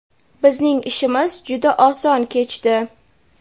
bizning ishimiz juda oson kechdi.